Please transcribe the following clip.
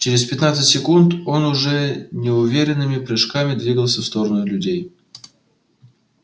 через пятнадцать секунд он уже неуверенными прыжками двигался в сторону людей